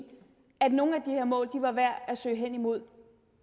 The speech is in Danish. at nogle af de her mål var værd at søge hen imod